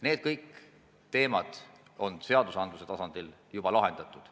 Need kõik on seadusandluse tasandil juba lahendatud.